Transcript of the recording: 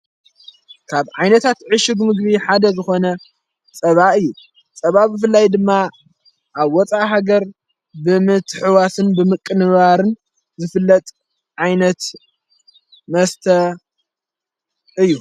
ካብ ዓይነታት ዕሽግ ምግቢ ሓደ ዘኾነ ጸባ እዩ ጸባ ብፍላይ ድማ ኣብ ወፃእ ሃገር ብምትሕዋስን ብምቕንባርን ዘፍለጥ ዓይነት መስተ እዩ።